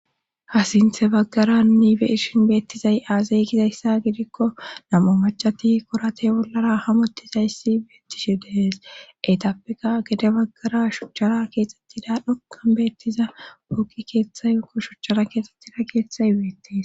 ha sintta baggara nuni be7ishin beettizay aaze gizaysa gidikko nam7u maccati koratiya bollara hamottizayssi beettishe de7ees;etappekka gede baggara shuchara keexettiza xoqqan beettiza pooqe keettay woykko shuchchara keexettida keethay beettes.